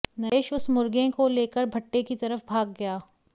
नरेश उस मुर्गें को लेकर भट्ठे की तरफ भाग गया